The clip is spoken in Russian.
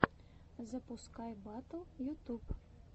запускай батл ютуб